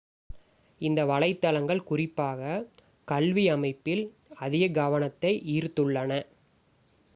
இந்த வலைத்தளங்கள் குறிப்பாக கல்வி அமைப்பில் அதிக கவனத்தை ஈர்த்துள்ளன